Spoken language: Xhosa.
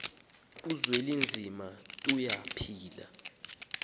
uzwelinzima tuya phila